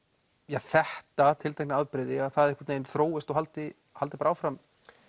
þetta tiltekna afbrigði það einhvern veginn þróist og haldi haldi bara áfram